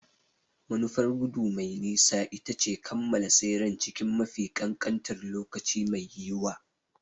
Manufar gudu mai nisa ita ce kammala tseren cikin mafi kankantar lokaci mai yiwuwa.